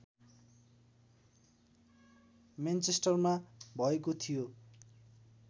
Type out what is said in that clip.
मेनचेस्टरमा भएको थियो